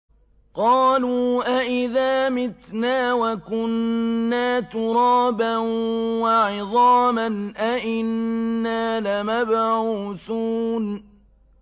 قَالُوا أَإِذَا مِتْنَا وَكُنَّا تُرَابًا وَعِظَامًا أَإِنَّا لَمَبْعُوثُونَ